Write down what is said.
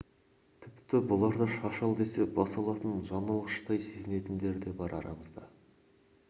тіпті бұларды шаш ал десе бас алатын жан алғыштай сезінетіндер де бар арамызда